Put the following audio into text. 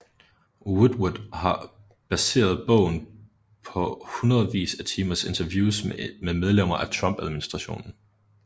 Woodward har baseret bogen på hundredvis af timers interviews med medlemmer af Trump administration